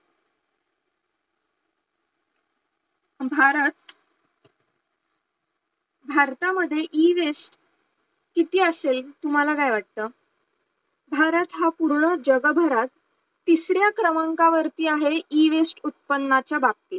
भारत, भारतामध्ये Ewaste किती असेल तुम्हाला काय वाटतं भारत हा पूर्ण जगभरात तिसऱ्या क्रमांकावर आहे Ewaste उत्पन्नाच्या बाबतीत